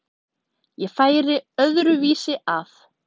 Ég færi öðru vísi að.